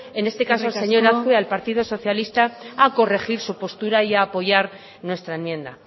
en este caso eskerrik asko señor azkue al partido socialista a corregir su postura y a apoyar nuestra enmienda